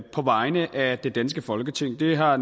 på vegne af det danske folketing det har